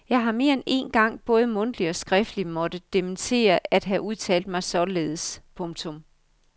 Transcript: Jeg har mere end én gang både mundtligt og skriftligt måtte dementere at have udtalt mig således. punktum